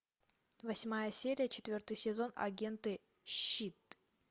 восьмая серия четвертый сезон агенты щ и т